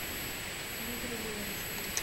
мигры леонтьевой